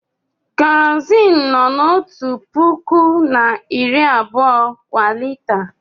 Kerọzin nọ n'ọtu pụkụ na iri abụọ kwa lita.